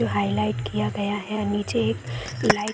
highlight किया गया है नीचे एक लाइट --